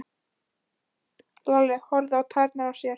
Lalli horfði á tærnar á sér.